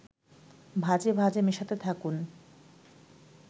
ভাজে ভাজে মেশাতে থাকুন